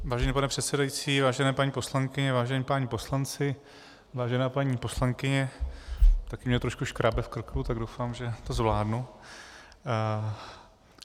Vážený pane předsedající, vážené paní poslankyně, vážení páni poslanci, vážená paní poslankyně, také mě trošku škrábe v krku, tak doufám, že to zvládnu.